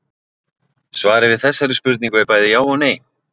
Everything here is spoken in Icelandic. Svarið við þessari spurningu er bæði já og nei.